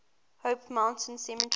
mount hope cemetery